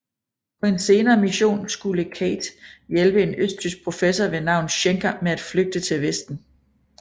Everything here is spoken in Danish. På en senere mission skulle Cate hjælpe en østtysk professor ved navn Schenker med at flygte til vesten